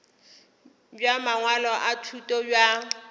bja mangwalo a thuto bja